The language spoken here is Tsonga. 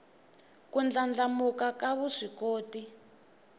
ku ndlandlamuka ka vuswikoti